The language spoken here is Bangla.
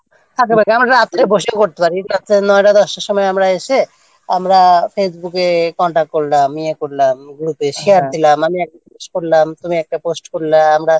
আমাকে রাত্রে বসে পড়তে হবে এই হচ্ছে নয়টা দশটার সময় আমরা এসে আমরা facebook-এ Contact করলাম ইয়ে করলাম Group-এ Share দিলাম একজনকে জিজ্ঞেস করলাম তারপরে একটা post করলাম আমরা